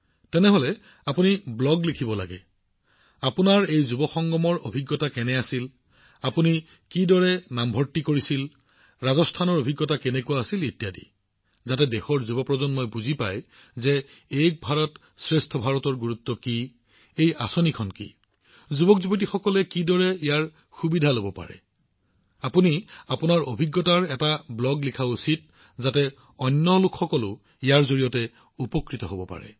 প্ৰধানমন্ত্ৰীঃ আপুনি যুৱ সংগমত আপোনাৰ অভিজ্ঞতা আপুনি ইয়াত কেনেদৰে নাম ভৰ্তি কৰিছিল ৰাজস্থানত আপোনাৰ অভিজ্ঞতা কেনেকুৱা হৈছে যাতে দেশৰ যুৱপ্ৰজন্মই এক ভাৰত শ্ৰেষ্ঠ ভাৰতৰ উদ্দেশ্য আৰু মহানতা জানিব পাৰে এই আঁচনিখন কি এই সম্পৰ্কে জানিব পাৰে যুৱকযুৱতীসকলে ইয়াৰ সুবিধা কেনেদৰে লব পাৰে আপুনি আপোনাৰ অভিজ্ঞতাৰে পৰিপূৰ্ণ এটা ব্লগ লিখিব লাগে তেতিয়া বহুতো মানুহে ইয়াক পঢ়াৰ বাবে উপযোগী হব